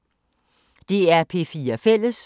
DR P4 Fælles